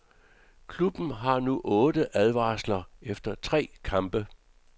Klubben har nu otte advarsler efter tre kampe.